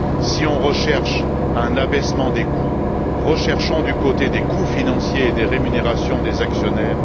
Si l'on recherche un abaissement des coûts, recherchons du côté des coûts financiers et des rémunérations des actionnaires.